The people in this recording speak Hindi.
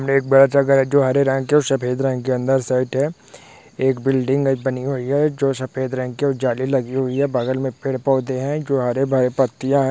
एक बड़ा सा घर है जो हरे रंग और सफ़ेद रंग के अंदर साइट है एक बिल्डिंग में बनी हुई है जो सफेद रंग के जाली लगी हुई है बगल में पेड़ पौधे हैं जो हरे भरे पत्तियां--